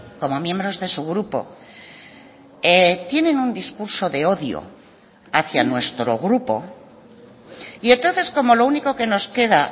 como miembros de su grupo tienen un discurso de odio hacia nuestro grupo y entonces como lo único que nos queda